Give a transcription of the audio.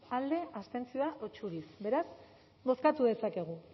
alde abstentzioa edo txuriz beraz bozkatu dezakegu